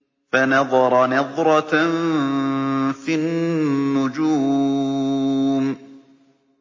فَنَظَرَ نَظْرَةً فِي النُّجُومِ